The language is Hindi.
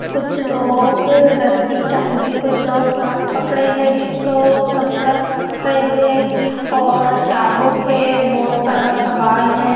कुछ लोग रस्सी टांग रे है कुछ लोग बांस पकड़े हैं कुछ लोग कपड़ा सुखा रहे हैं और चाबुक है बहोत सारा सबाल है।